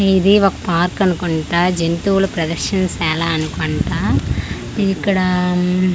ఇది ఒక పార్క్ అనుకుంటా జంతువుల ప్రదర్శనశాల అనుకుంటా ఇక్కడా--